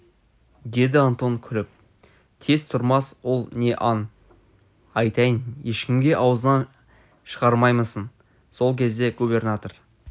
деді антон күліп тез тұрмас ол не аң айтайын ешкімге аузыңнан шығармаймысың сол кезде губернатор